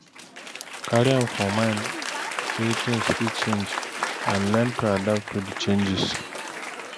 Carry am for mind sey things fit change and learn to adapt to di changes